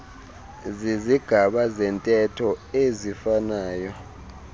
zizigaba zentetho eziifanayo